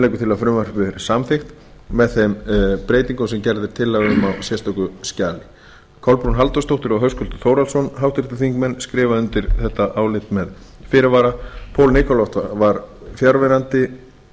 frumvarpið verði samþykkt með þeim breytingum sem gerð er tillaga um á sérstöku skjali kolbrún halldórsdóttir og höskuldur þórhallsson háttvirtir þingmenn skrifa undir álit þetta með fyrirvara paul nikolov var fjarverandi við